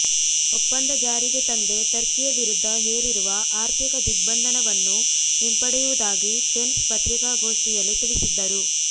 ಒಂಪದ ಜಾರಿಗೆ ತಂದೆ ಟರ್ಕಿಯ ವಿರುದ್ಧ ಹೇರಿರುವ ಆರ್ಥಿಕ ದಿಗ್ಬಂಧನವನ್ನು ಹಿಂಪಡೆಯುವುದಾಗಿ ಪೆನ್ಸ್ ಪತ್ರಿಕಾಗೋಷ್ಠಿಯಲ್ಲಿ ತಿಳಿಸಿದ್ದರು